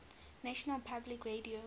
national public radio